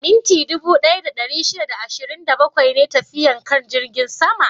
Minti dubu ɗaya da ɗari shida da ashirin da bakwai ne tafiyar kan jirgin sama?